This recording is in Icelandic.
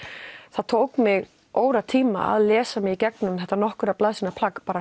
það tók mig óratíma að lesa mig í gegnum þetta nokkura blaðsíðna plagg